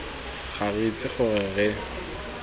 ga re itse gore re